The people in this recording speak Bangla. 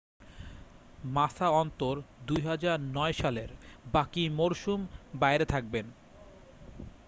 মাসা অন্তত 2009 সালের বাকি মরসুম বাইরে থাকবেন